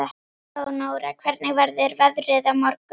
Leónóra, hvernig verður veðrið á morgun?